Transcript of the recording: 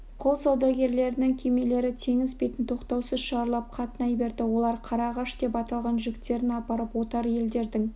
құл саудагерлерінің кемелері теңіз бетін тоқтаусыз шарлап қатынай берді олар қара ағаш деп аталған жүктерін апарып отар елдердің